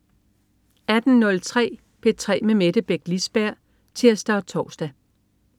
18.03 P3 med Mette Beck Lisberg (tirs og tors)